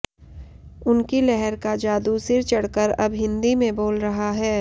उनकी लहर का जादू सिर चढ़कर अब हिन्दी में बोल रहा है